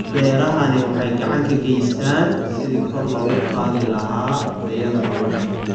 Beerahani waxa ay gacan ka geystaan ??sidii kor loogu qaadi lahaa tayada nolosha.